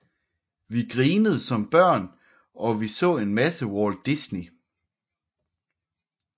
Vi grinede som børn og vi så en masse Walt Disney